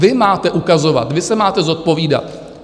Vy máte ukazovat, vy se máte zodpovídat.